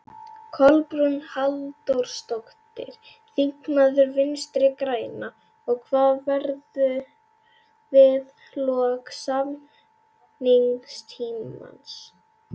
Kolbrún Halldórsdóttir, þingmaður Vinstri-grænna: Og hvað verður við lok samningstímans?